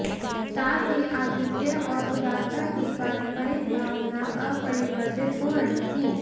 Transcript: साथ ही आतिथ्य और उदारता की पारंपरिक भावना अपरिवर्तित हो रही थी